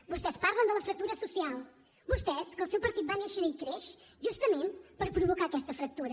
vostès parlen de la fractura social vostès que el seu partit va néixer i creix justament per provocar aquesta fractura